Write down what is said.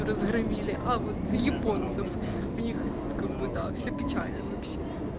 разгромили а вот японцев у них как бы да все печально вообще